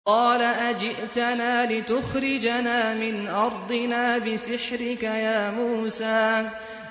قَالَ أَجِئْتَنَا لِتُخْرِجَنَا مِنْ أَرْضِنَا بِسِحْرِكَ يَا مُوسَىٰ